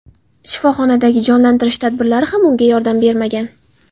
Shifoxonadagi jonlantirish tadbirlari ham unga yordam bermagan.